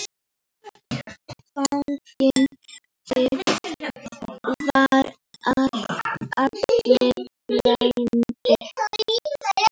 Þannig var Elli frændi.